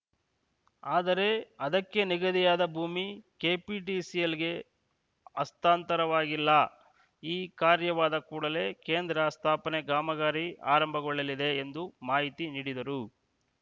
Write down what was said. ಆದರೆ ಅದಕ್ಕೆ ನಿಗದಿಯಾದ ಭೂಮಿ ಕೆಪಿಟಿಸಿಎಲ್‌ಗೆ ಹಸ್ತಾಂತರವಾಗಿಲ್ಲ ಈ ಕಾರ್ಯವಾದ ಕೂಡಲೇ ಕೇಂದ್ರ ಸ್ಥಾಪನೆ ಕಾಮಗಾರಿ ಆರಂಭಗೊಳ್ಳಲಿದೆ ಎಂದು ಮಾಹಿತಿ ನೀಡಿದರು